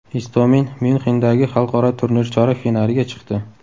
Istomin Myunxendagi xalqaro turnir chorak finaliga chiqdi.